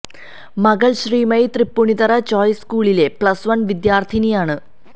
മകള് ശ്രീമയി തൃപ്പൂണിത്തുറ ചോയ്സ് സ്കൂളിലെ plus one വിദ്യാര്ഥിനിയാണ്